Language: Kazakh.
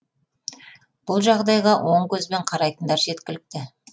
бұл жағдайға оң көзбен қарайтындар жеткілікті